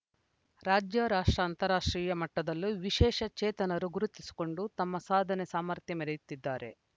ರಾಜ್ಯ ರಾಷ್ಟ್ರ ಅಂತಾರಾಷ್ಟ್ರೀಯ ಮಟ್ಟದಲ್ಲೂ ವಿಶೇಷ ಚೇತನರು ಗುರುತಿಸಿಕೊಂಡು ತಮ್ಮ ಸಾಧನೆ ಸಾಮರ್ಥ್ಯ ಮೆರೆಯುತ್ತಿದ್ದಾರೆ